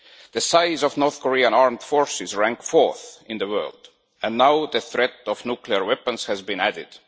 The size of the North Korean armed forces is ranked fourth in the world, and now the threat of nuclear weapons has been added.